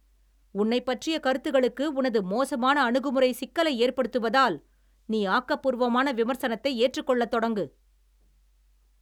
உன்னைப் பற்றிய கருத்துகளுக்கு, உனது மோசமான அணுகுமுறை சிக்கலை ஏற்படுத்துவதால் , நீ ஆக்க பூர்வமான விமர்சனத்தை ஏற்றுக்கொள்ளத் தொடங்கு.